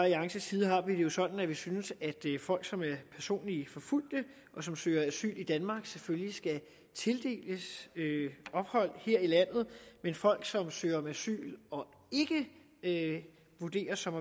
alliances side har vi det jo sådan at vi synes at folk som er personligt forfulgt og som søger asyl i danmark selvfølgelig skal tildeles ophold her i landet men folk som søger om asyl og ikke vurderes som